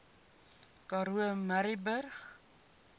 karoo murrayburg